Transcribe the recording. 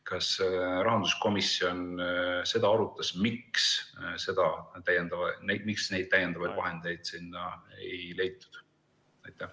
Kas rahanduskomisjon arutas seda, miks neid täiendavaid vahendeid sinna ei leitud?